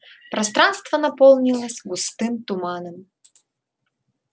пространство наполнилось густым туманом